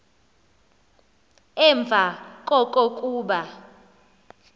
emva koko kuba